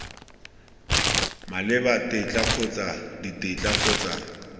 maleba tetla kgotsa ditetla kgotsa